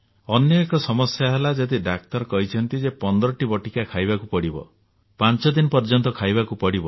ଅନ୍ୟ ଏକ ସମସ୍ୟା ହେଲା ଯଦି ଡାକ୍ତର କହିଛନ୍ତି ଯେ 15ଟି ବଟିକା ଖାଇବାକୁ ପଡିବ ପାଞ୍ଚ ଦିନ ପର୍ଯ୍ୟନ୍ତ ଖାଇବାକୁ ପଡିବ